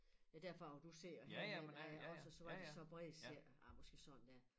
Ja derfra hvor du sidder og herhen ja også så var de så brede cirka ah måske sådan der